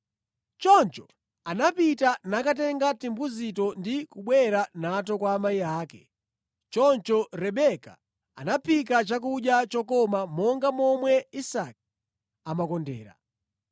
Choncho anapita nakatenga timbuzito ndi kubwera nato kwa amayi ake. Choncho Rebeka anaphika chakudya chokoma monga momwe Isake amakondera.